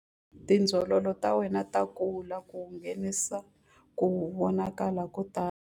Tindzololo ta wena ta kula ku nghenisa ku vonakala ko tala.